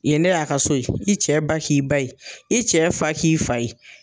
Yen ne y'a ka so ye i cɛ ba k'i ba ye i cɛ fa k'i fa ye.